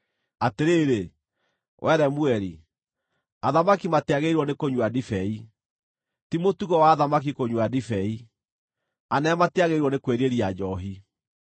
“Atĩrĩrĩ, wee Lemueli, athamaki matiagĩrĩirwo nĩkũnyua ndibei, ti mũtugo wa athamaki kũnyua ndibei, anene matiagĩrĩirwo nĩ kwĩrirĩria njoohi,